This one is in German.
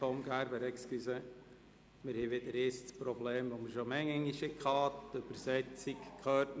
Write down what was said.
Entschuldigung, Tom Gerber, wir haben wieder einmal das Problem, dass die Dolmetscherinnen nichts mehr hören.